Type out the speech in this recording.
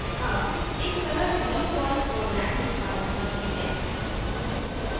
अब एक सरल hello perl प्रोग्राम निष्पादित करते हैं